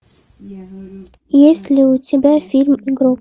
есть ли у тебя фильм гроб